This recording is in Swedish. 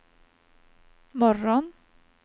morgon